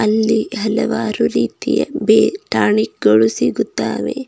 ಇಲ್ಲಿ ಹಲವಾರು ರೀತಿಯ ಬೇರ್ ಟಾನಿಕ್ ಗಳು ಸಿಗುತ್ತವೆ.